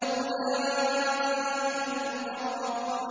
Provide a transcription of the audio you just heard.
أُولَٰئِكَ الْمُقَرَّبُونَ